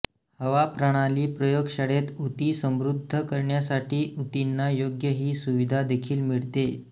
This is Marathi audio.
हवा प्रणाली प्रयोगशाळेत ऊती समृद्ध करण्यासाठी ऊतींना योग्य ही सुविधा देखील मिळते